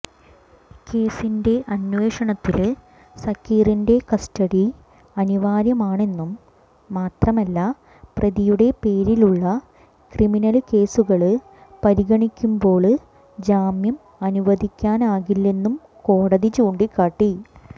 കേസിന്റെ അന്വേഷണത്തില് സക്കീറിന്റെ കസ്റ്റഡി അനിവാര്യമാണെന്നും മാത്രമല്ല പ്രതിയുടെ പേരിലുളള ക്രിമിനല് കേസുകള് പരിഗണിക്കുമ്പോള് ജാമ്യം അനുവദിക്കാനാകില്ലെന്നും കോടതി ചൂണ്ടിക്കാട്ടി